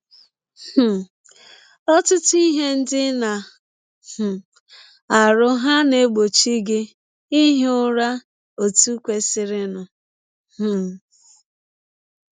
um Ọtụtụ ihe ndị ị na um - arụ hà na - egbọchi gị ihi ụra ọtụ kwesịrịnụ um?